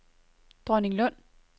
Dronninglund